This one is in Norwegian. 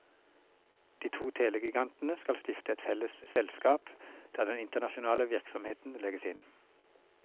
De to telegigantene skal stifte et felles selskap der den internasjonale virksomheten legges inn.